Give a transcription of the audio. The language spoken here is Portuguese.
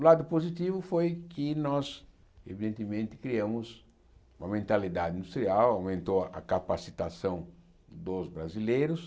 O lado positivo foi que nós, evidentemente, criamos uma mentalidade industrial, aumentou a a capacitação dos brasileiros.